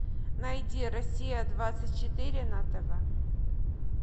найди россия двадцать четыре на тв